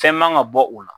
Fɛn man ka bɔ o la